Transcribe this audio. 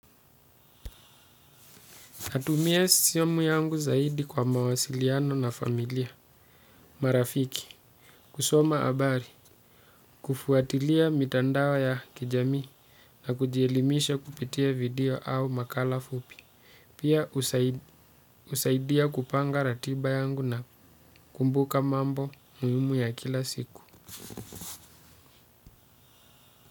Natumia simu yangu zaidi kwa mawasiliano na familia. Marafiki, kusoma habari, kufuatilia mitandao ya kijamii na kujielimisha kupitia video au makala fupi. Pia husaidia kupanga ratiba yangu na kumbuka mambo muhimu ya kila siku.